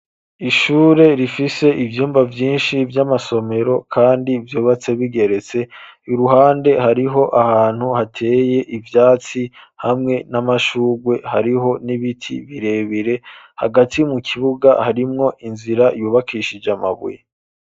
Ishure rifise ivyumba byinshi by'amasomero kandi vyubatse bigeretse iruhande hariho ahantu hateye ibyatsi hamwe n'amashugwe hariho n'ibiti birebire hagati mu kibuga harimwo inzira yubakishije amabuye.